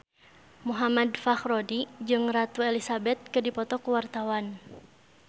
Muhammad Fachroni jeung Ratu Elizabeth keur dipoto ku wartawan